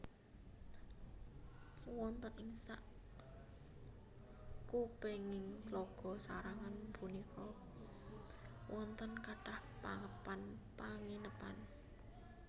Wonten ing sakupenging Tlaga sarangan punika wonten kathah papan panginepan